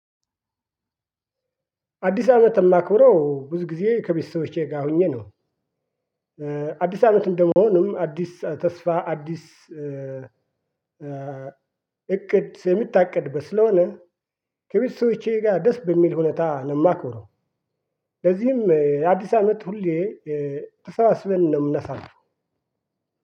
አዲስ አመት የማክብረው ብዙ ጊዜ ከቤተሰቦቼ ጋር ሆኜ ነው። አዲስ አመት እንደመሆኑም አዲስ ተስፋ አዲስ እቅድ የምታቅድበት ስለሆነ ከቤተሰቦቼ ጋር ደስ በሚል ሁኔታ ነው የማከብረው። ለዚህም የአዲስ አመት ሁሌ ተሰባስበን ነው የምናሳልፈው።